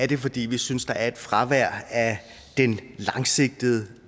det fordi vi synes der er et fravær af den langsigtede